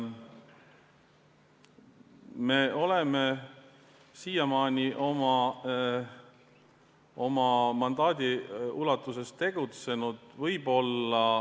Me oleme siiamaani oma mandaadi ulatuses tegutsenud.